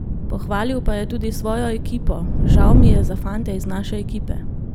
Pohvalil pa je tudi svojo ekipo: "Žal mi je za fante iz naše ekipe.